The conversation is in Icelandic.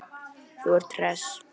Þú ert hress.